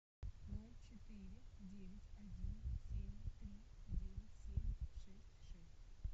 ноль четыре девять один семь три девять семь шесть шесть